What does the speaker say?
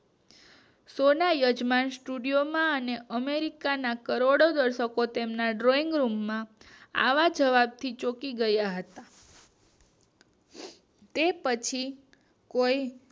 સોના યજમાન સ્ટુડિયો માં અને અમેરિકાના કરોડો દર્શકો તેને drawing રૂમ માં આવા જવાબ થી ચોકી ગયા હતા તે પછી કોઈ